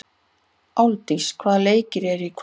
Álfdís, hvaða leikir eru í kvöld?